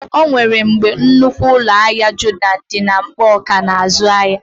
O nwere mgbe nnukwu ụlọ ahịa Jodọn dị na Nkpọọ kà ná-azụ ahịa.